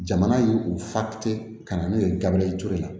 Jamana ye u fa te ka na n'u ye gabriel ture la